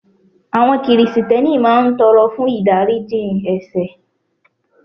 Àwọn Krìsìtẹ́nì máa ń tọrọ fún ìdáríjì ẹ̀sẹ̀